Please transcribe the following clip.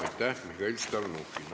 Aitäh, Mihhail Stalnuhhin!